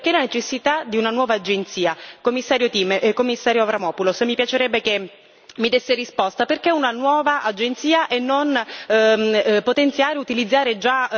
Commissario Avramopoulos, mi piacerebbe che mi desse una risposta, perché una nuova agenzia e non potenziare, utilizzare già Frontex, l'agenzia già esistente?